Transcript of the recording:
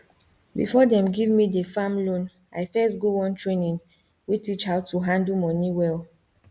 before dem give me the farm loan i first go one training wey teach how to handle moni well